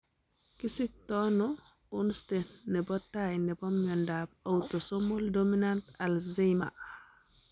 Kisiktoono onste nebo taai nebo miondab autosomal dominant Alzheimer?